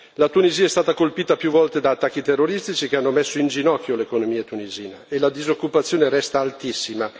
La Tunisia è stata colpita più volte da attacchi terroristici, che hanno messo in ginocchio l'economia tunisina, e la disoccupazione resta altissima.